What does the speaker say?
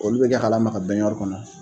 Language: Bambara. Olu be kɛ ka lama ka bɛnɲari kɔnɔ.